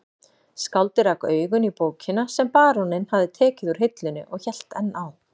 Skáldið rak augun í bókina sem baróninn hafði tekið úr hillunni og hélt enn á